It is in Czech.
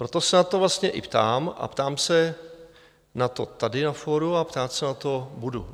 Proto se na to vlastně i ptám a ptám se na to tady na fóru a ptát se na to budu.